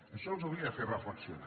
això els hauria de fer reflexionar